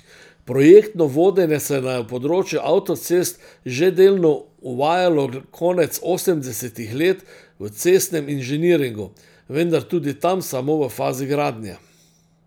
Projektno vodenje se je na področju avtocest že delno uvajalo konec osemdesetih let v Cestnem inženiringu, vendar tudi tam samo v fazi gradnje.